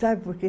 Sabe por quê?